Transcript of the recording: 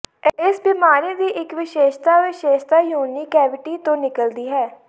ਇਸ ਬਿਮਾਰੀ ਦੀ ਇੱਕ ਵਿਸ਼ੇਸ਼ਤਾ ਵਿਸ਼ੇਸ਼ਤਾ ਯੋਨੀ ਕੈਵਿਟੀ ਤੋਂ ਨਿਕਲਦੀ ਹੈ